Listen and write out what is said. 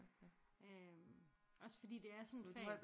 Øh også fordi det er sådan et fag